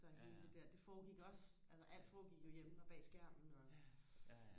så hele det der det foregik også altså alt foregik jo hjemme og bag skærmen og